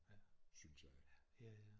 Synes jeg